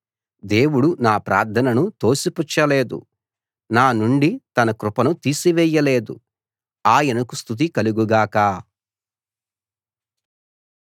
దేవుడు నా ప్రార్థనను తోసిపుచ్చలేదు నా నుండి తన కృపను తీసివేయలేదు ఆయనకు స్తుతి కలుగు గాక